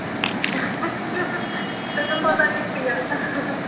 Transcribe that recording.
ਤੈਨੂੰ ਪਤਾ ਨੀ ਸੀਗਾ